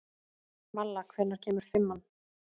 Malla, hvenær kemur fimman?